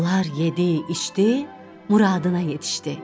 Onlar yedi, içdi, muradına yetişdi.